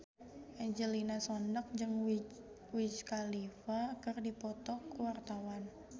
Angelina Sondakh jeung Wiz Khalifa keur dipoto ku wartawan